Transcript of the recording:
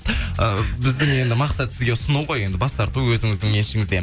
і біздің енді мақсат сізге ұсыну ғой енді бас тарту өзіңіздің еншіңізде